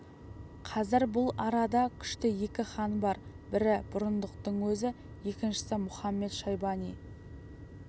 қазір бұл арада күшті екі хан бар бірі бұрындықтың өзі екіншісі мұхамет-шайбани